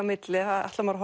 milli ætlar maður